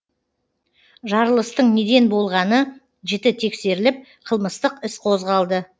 жарылыстың неден болғаны жіті тексеріліп қылмыстық іс қозғалды